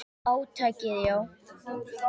Átakið, já.